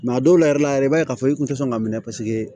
a dɔw la yɛrɛ i b'a ye k'a fɔ i kun tɛ sɔn k'a minɛ